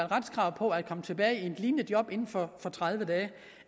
retskrav på at komme tilbage i et lignende job inden for tredive dage